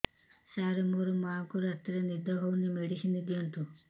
ସାର ମୋର ମାଆଙ୍କୁ ରାତିରେ ନିଦ ହଉନି ମେଡିସିନ ଦିଅନ୍ତୁ